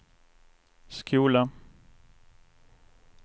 skola